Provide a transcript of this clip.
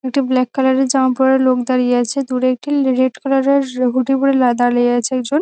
একটি black colour - এর জামা পরে লোক দাড়িয়ে আছে দূরে একটি লি রেড কালার - এর হুডি পরে লা দাড়িয়ে আছে একজন ।